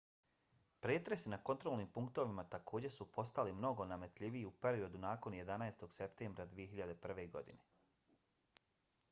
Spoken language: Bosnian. pretresi na kontrolnim punktovima takođe su postali mnogo nametljiviji u periodu nakon 11. septembra 2001. godine